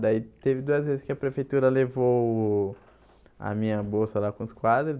Daí teve duas vezes que a prefeitura levou a minha bolsa lá com os quadros.